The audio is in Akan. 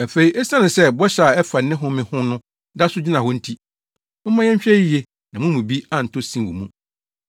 Afei esiane sɛ bɔhyɛ a ɛfa ne mu home ho no da so gyina hɔ nti, momma yɛnhwɛ yiye na mo mu bi antɔ sin wɔ mu.